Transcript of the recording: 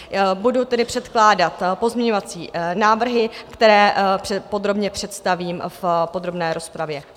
Budu tedy předkládat pozměňovací návrhy, které podrobně představím v podrobné rozpravě.